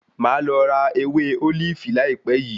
Màá lọ ra ewé ólífì láìpẹ́ yìí.